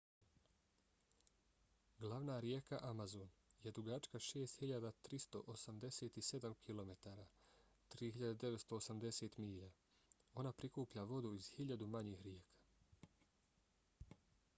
glavna rijeka amazon je dugačka 6.387 km 3.980 milja. ona prikuplja vodu iz hiljadu manjih rijeka